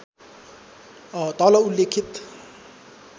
तल उल्लेखित